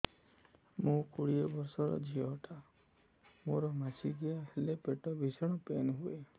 ମୁ କୋଡ଼ିଏ ବର୍ଷର ଝିଅ ଟା ମୋର ମାସିକିଆ ହେଲେ ପେଟ ଭୀଷଣ ପେନ ହୁଏ